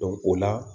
o la